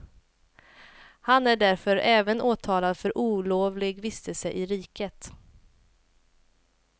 Han är därför även åtalad för olovlig vistelse i riket.